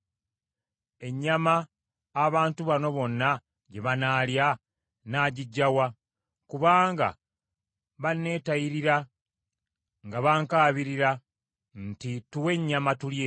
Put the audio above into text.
Ennyama abantu bano bonna gye banaalya nnaagiggya wa? Kubanga baneetayirira nga bankaabirira nti, ‘Tuwe ennyama tulye!’